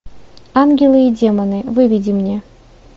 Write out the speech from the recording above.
ангелы и демоны выведи мне